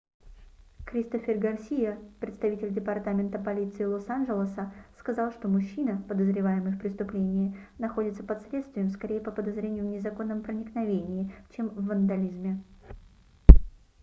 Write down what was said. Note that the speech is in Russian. кристофер гарсиа представитель департамента полиции лос-анжелоса сказал что мужчина подозреваемый в преступлении находится под следствием скорее по подозрению в незаконном проникновении чем в вандализме